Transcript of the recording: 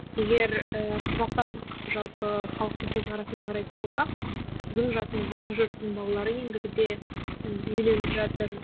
егер ііі қазақстандық жалпы халықтың көзқарасымен қарайтын болсақ сіздің жасыңыздағы жұрттың балалары ендігіде үйленіп жатыр